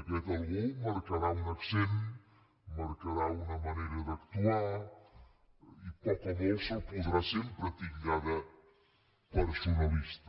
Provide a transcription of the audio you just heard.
aquest algú marcarà un accent marcarà una manera d’actuar i poc o molt se’l podrà sempre titllar de personalista